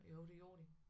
Jo det gjorde det